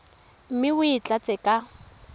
mme o e tlatse ka